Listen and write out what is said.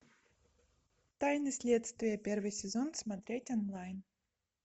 тайны следствия первый сезон смотреть онлайн